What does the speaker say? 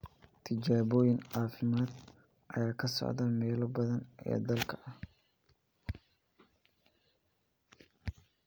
Tijaabooyin caafimaad ayaa ka socda meelo badan oo dalka ah.